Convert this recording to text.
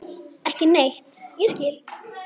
Ekki neitt ég skil.